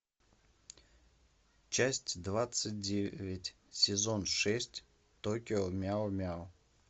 часть двадцать девять сезон шесть токио мяу мяу